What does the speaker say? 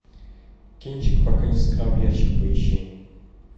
кинчик пока не сыграл в ящик поищи